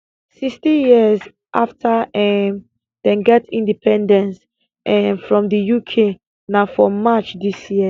sixty years after um dem get independence um from di uk na for march dis year